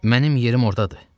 Mənim yerim ordadır.